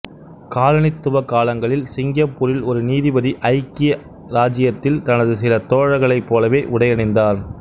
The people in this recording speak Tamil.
காலனித்துவ காலங்களில் சிங்கப்பூரில் ஒரு நீதிபதி ஐக்கிய இராச்சியத்தில் தனது சில தோழர்களைப் போலவே உடை அணிந்தார்